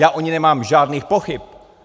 Já o ní nemám žádných pochyb.